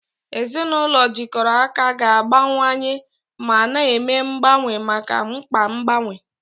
Ezinụlọ jikọrọ aka ga-agbanwewanye ma na-eme mgbanwe maka mkpa mgbanwe.